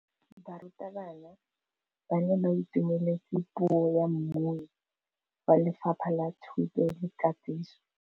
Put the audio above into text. Barutabana ba ne ba itumeletse puô ya mmui wa Lefapha la Thuto le Katiso.